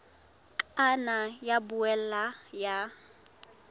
ka nna ya boela ya